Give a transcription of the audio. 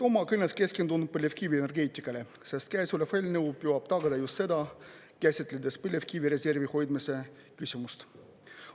Oma kõnes keskendun ma põlevkivienergeetikale, sest käesolev eelnõu püüab tagada just seda kästledes põlevkivireservi hoidmise küsimust.